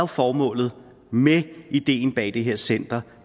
formålet med ideen bag det her center